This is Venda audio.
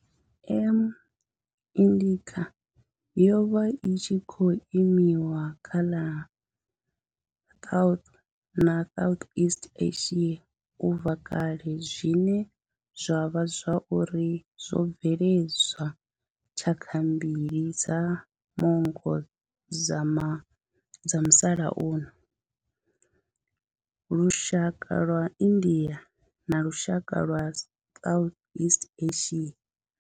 M. indica yo vha i tshi khou limiwa kha ḽa South na Southeast Asia ubva kale zwine zwa vha uri zwo bveledza tshaka mbili dza manngo dza musalauno lushaka lwa India na lushaka lwa Southeast Asia.